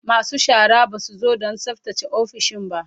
Masu shara ba su zo don tsaftace ofisoshin ba